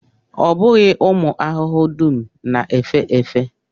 Ọ bụghị ụmụ ahụhụ dum na-efe efe